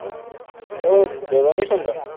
অ দৰনি চন্দন